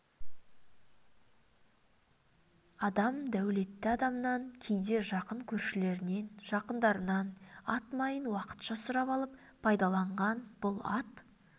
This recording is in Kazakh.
адам дәулетті адамнан кейде жақын көршілерінен жақындарынан ат майын уақытша сұрап алып пайдаланған бұл ат